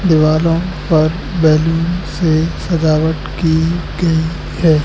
दिवालों पर बैलून से सजावट की गई है।